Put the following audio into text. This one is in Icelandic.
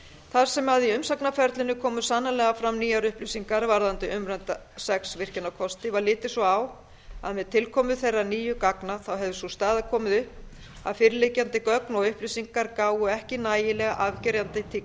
þar sem í umsagnarferlinu koma sannarlega fram nýjar upplýsingar varðandi umrædda sex virkjunarkosti var litið svo á að með tilkomu þeirra nýju gagna hefði sú staða komið upp að fyrirliggjandi gögn og upplýsingar gáfu ekki nægilega afgerandi til